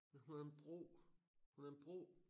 Men hun havde en bro hun havde en bro